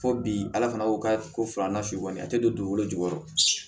Fo bi ala fana ko ka ko filanan su kɔni a tɛ don dugukolo jukɔrɔ